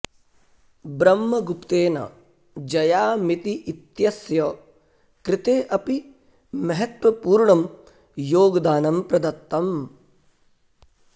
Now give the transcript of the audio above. ब्रह्मगुप्तेन जयामिति इत्यस्य कृते अपि महत्वपूर्णं योगदानं प्रदत्तम्